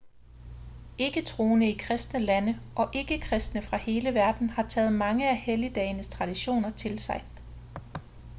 ikke-troende i kristne lande og ikke-kristne fra hele verden har taget mange af helligdagenes traditioner til sig